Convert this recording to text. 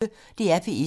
DR P1